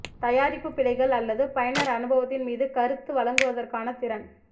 தயாரிப்பு பிழைகள் அல்லது பயனர் அனுபவத்தின் மீது கருத்து வழங்குவதற்கான திறன்